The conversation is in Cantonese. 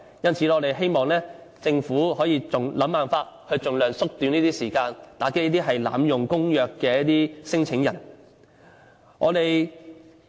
因此，我們希望政府想辦法盡量縮短這方面的時間，打擊這些濫用公約的聲請人。